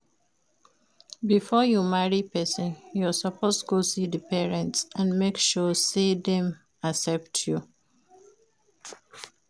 Before you marry persin you suppose go see di parents and make sure say dem accept you